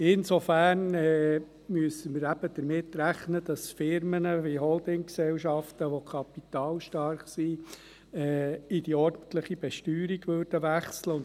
Insofern müssen wir damit rechnen, dass Unternehmen, wie Holdinggesellschaften, welche kapitalstark sind, in die ordentliche Besteuerung wechseln würden.